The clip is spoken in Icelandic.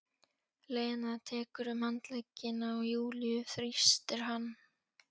Lena tekur um handlegginn á Júlíu, þrýstir hann.